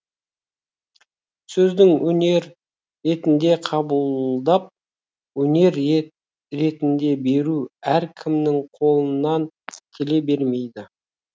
сөздің өнер ретінде қабылдап өнер ретінде беру әркімнің қолынан келе бермейді